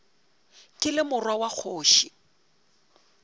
ke le morwa wa kgoši